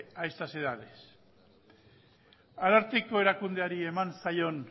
a estas edades ararteko erakundeari eman zaion